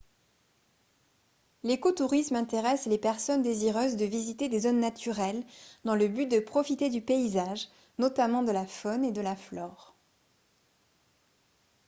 l'écotourisme intéresse les personnes désireuses de visiter des zones naturelles dans le but de profiter du paysage notamment de la faune et de la flore